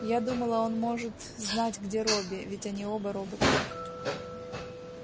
я думала он может знать где робби ведь они оба роботы